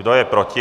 Kdo je proti?